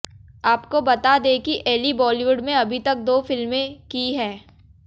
आपको बता दें कि एली बॉलीवुड में अभी तक दो फिल्में की है